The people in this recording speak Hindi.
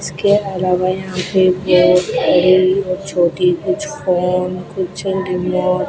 इसके अलावा यहां पे बहोत बड़ी और छोटी कुछ फोन कुछ रिमोट --